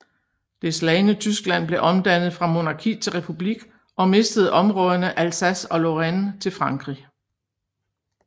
Det slagne Tyskland blev omdannet fra monarki til republik og mistede områderne Alsace og Lorraine til Frankrig